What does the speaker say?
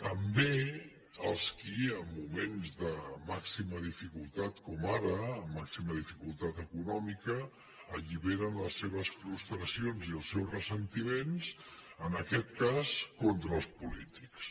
també els qui en moments de màxima dificultat com ara màxima dificultat econòmica alliberen les seves frustracions i els seus ressentiments en aquest cas contra els polítics